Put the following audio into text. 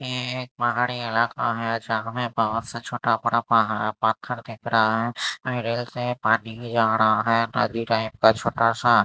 ये एक पहाड़ी इलाका हैं जहाँ में बाहर से छोटा बड़ा पहा पत्थर दिख रहा हैं मिल से पानी जा रहा हैं नदी का छोटा सा--